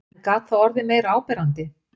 En gat það orðið meira áberandi?